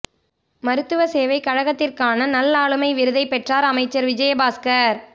மருத்துவ சேவை கழகத்திற்கான நல் ஆளுமை விருதை பெற்றார் அமைச்சர் விஜயபாஸ்கர்